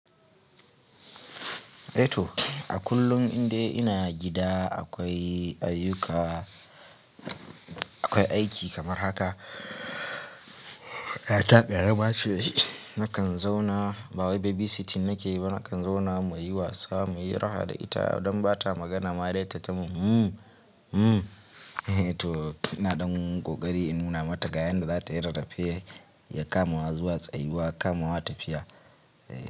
A kullum inda ina gida akwai ayyuka, akwai aiki kamar haka. Yata karams ce Nakan zauna ba wai babysitting nake yi ba, nakan zauna muyi wasa, muyi raha da ita don ba ta magana ma dai tatta mumu. Hmm hmm. To ina ɗan kokari in nuna mata ga yanda za ta yi rarrafe ya kama wa zuwa tsayuwa, ya kama wa tafiya.